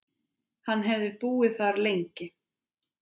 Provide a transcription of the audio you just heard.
Hann hefði búið þar lengi.